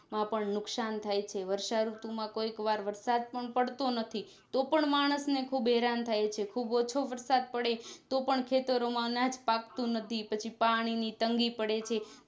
માં પણ નુકસાન થાય છે વર્ષા ઋતુ માં કોઈક વાર વરસાદ પણ પડતો નથી તો પણ માણસ ને ખુબ હેરાન થાય છે ખુબ ઓછો વરસાદ પડે તો પણ ખેતરો માં અનાજ પાકતું નથી પછી પાણી ની તંગી પડે છે